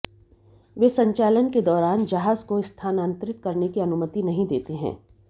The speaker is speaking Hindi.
वे संचालन के दौरान जहाज को स्थानांतरित करने की अनुमति नहीं देते हैं